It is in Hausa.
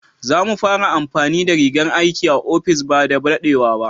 Za mu fara amfani da rigan aiki a ofis ba da daɗewa ba.